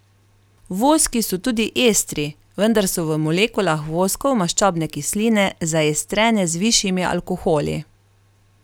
Voski so tudi estri, vendar so v molekulah voskov maščobne kisline zaestrene z višjimi alkoholi.